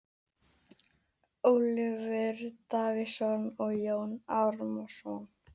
Ólafur Davíðsson og Jón Árnason.